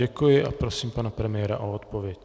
Děkuji a prosím pana premiéra o odpověď.